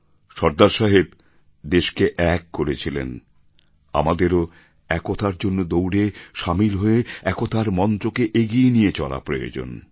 সর্দার সাহেব দেশকে এক করেছিলেন আমাদেরও একতার জন্য দৌড়ে সামিল হয়ে একতার মন্ত্রকে এগিয়ে নিয়ে চলা প্রয়োজন